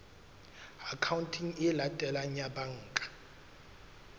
akhaonteng e latelang ya banka